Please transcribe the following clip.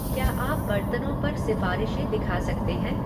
क्या आप बर्तनों पर सिफारिशें दिखा सकते हैं?